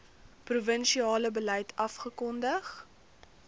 provinsiale beleid afgekondig